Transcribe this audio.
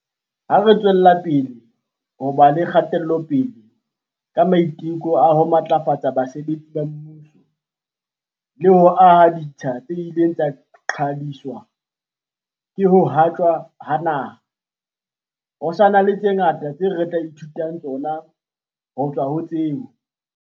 Ha re tswelapele ho ba le kgatelopele ka maiteko a ho matlafatsa basebetsi ba mmuso le ho aha ditsha tse ileng tsa qhwadiswa ke ho haptjwa ha naha, ho sa na le tse ngata tseo re tla e thutang tsona ho tswa ho tseo